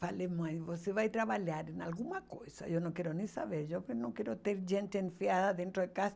Falei, mãe, você vai trabalhar em alguma coisa, eu não quero nem saber, eu que não quero ter gente enfiada dentro de casa.